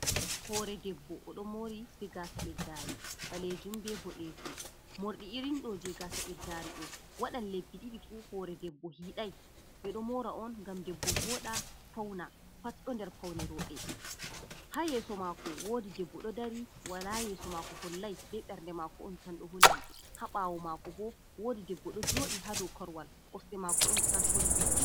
Hoore debbo, o ɗo moori, be gaasa ɓeddaari ɓaleejum be boɗeejum, moorɗi irin ɗo jey gaasa ɓeddaari ɗo, waɗan lebbi ɗiɗi fu hoore debbo hiiday, ɓe ɗo moora on ngam debbo vooɗa, fawna, pat p boo nder rooɓe. Haa yeeso maako woodi debbo ɗo dari wala yeeso maako hollay, be ɓernde maako on tan ɗo holli, haa ɓaawo maako bo, woodi debbo ɗo jooɗi haa dow korowal kosɗe maako on tan holli.